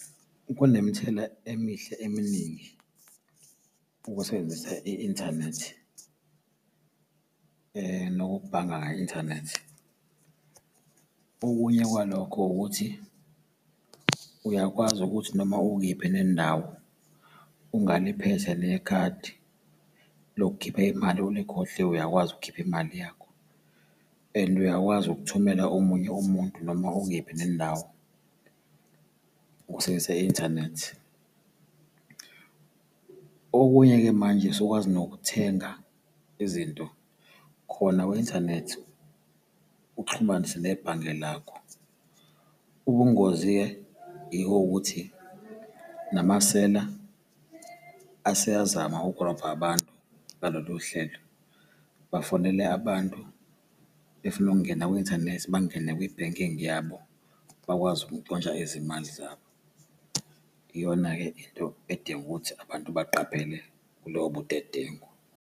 Kunemithelela emihle eminingi ukusebenzisa i-inthanethi nokubhanga kwi-inthanethi. Okunye kwalokho ukuthi uyakwazi ukuthi noma ukephi nendawo ungaliphethe nekhadi lokukhipha imali ulikhohliwe, uyakwazi ukukhipha imali yakho and uyakwazi ukuthumela omunye umuntu noma ukephi nendawo ukusebenzisa i-inthanethi. Okunye-ke manje usukwazi nokuthenga izinto khona kwi-inthanethi uxhumanise nebhange lakho. Ubungozi-ke yiko ukuthi namasela aseyazama ukurobha abantu ngalolu hlelo, bafonele abantu befuna ukungena kwi-inthanethi bangene kwi-banking yabo, bakwazi ukuntshontsha izimali zabo. Iyona-ke into edinga ukuthi abantu baqaphele kulowo budedengu.